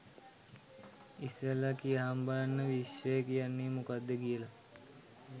ඉස්සෙල්ලා කියහං බලන්න විශ්වය කියන්නේ මොකක්ද කියලා